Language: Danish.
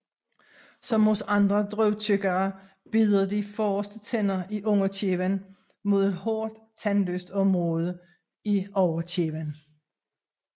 Som hos andre drøvtyggere bider de forreste tænder i underkæben mod et hårdt tandløst område i overkæben